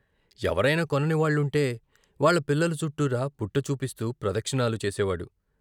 ఎవరైనా కొనని వాళ్ళుంటే వాళ్ళ పిల్లల చుట్టూరా బుట్ట చూపిస్తూ ప్రదక్షిణాలు చేసేవాడు.